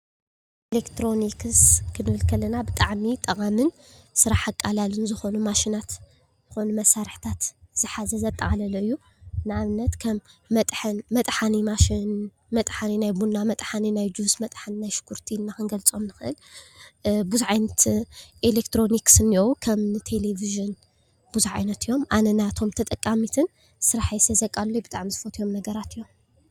ኤሌክትሮኒክስ ክንብል ከለና ብጣዕሚ ጠቓምን ስራሕ ኣቃላልን ዝኾኑ ማሽናትን ዝኾኑ መሳርሕታትን ዝሓዘ ዘጠቓለለ እዩ። ንኣብነት ከም መጥሓኒ ማሽን፣ መጥሓኒ ናይ ቡና፣ መጥሓኒ ናይ ጁስ፣ መጥሓኒ ናይ ሽጉርቲ ኢልና ክንገልፆም ንኽእል ብዙሕ ዓይነት ኤሌክትሮኒክስ እንኤዉ ከምኒ ቴሌቭዥን ብዙሕ ዓይነት እዮም። ኣነ ናቶም ተጠቃሚትን ስርሐይ ስለዘቃሉሉለይ ብጣዕሚ ዝፈትዎም ነገራት እዮም።